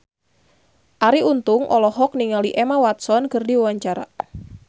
Arie Untung olohok ningali Emma Watson keur diwawancara